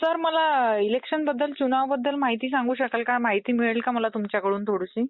Sir मला election बद्दल चुनाव बद्दल माहिती सांगू शकाल का? माहिती मिळेल का मला तुमच्याकडून थोडीशी?